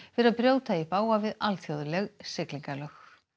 fyrir að brjóta í bága við alþjóðleg siglingalög